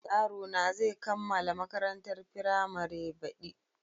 Yarona zai kammala makarantar firamare baɗi.